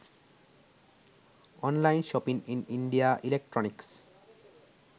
online shopping in india electronics